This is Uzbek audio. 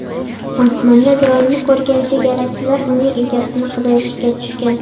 Osmonda dronni ko‘rgan chegarachilar uning egasini qidirishga tushgan.